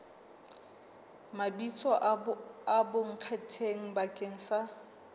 mabitso a bonkgetheng bakeng sa